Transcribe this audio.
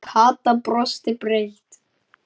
Kata brosti breitt.